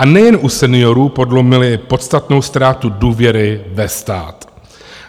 A nejen u seniorů podlomili podstatnou ztrátu důvěry ve stát.